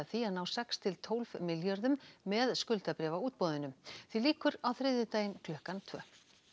því að ná sex til tólf milljörðum með skuldabréfaútboðinu því lýkur á þriðjudaginn klukkan tvö